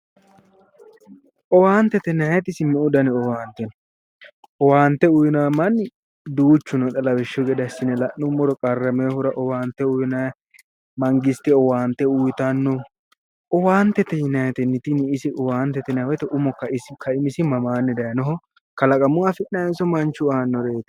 Owaantete yinnanniti isi meu danni owaante no, owaante uyinanni manni duuchu no lawishshu gede assine la'nuummoro qarraminohura owaante uyinnayi, mangistete owaante uyittanno ,owaantete yinnaniti tini isi umo kaimisi mamaani higge daayinoho kalaqamuyi afi'nannihonso manchu aanoreti.